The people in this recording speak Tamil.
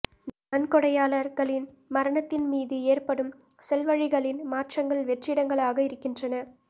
நன்கொடையாளர்களின் மரணத்தின் மீது ஏற்படும் செல்வழிகளின் மாற்றங்கள் வெற்றிடங்களாக இருக்கின்றன